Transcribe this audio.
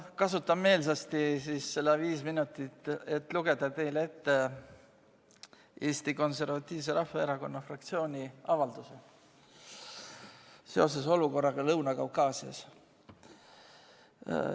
Kasutan meelsasti ära need viis minutit, et lugeda teile ette Eesti Konservatiivse Rahvaerakonna fraktsiooni avaldus seoses olukorraga Lõuna-Kaukaasias.